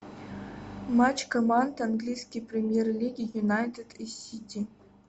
матч команд английской премьер лиги юнайтед и сити